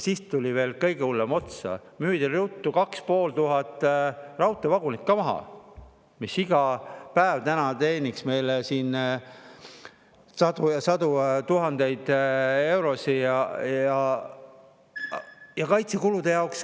Siis tuli veel kõige hullem otsa: müüdi ruttu 2500 raudteevagunit maha, mis iga päev teeniks meile siin sadu ja sadu tuhandeid eurosid ka kaitsekulude jaoks.